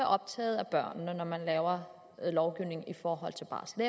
optaget af børnene når man laver lovgivning i forhold til barsel og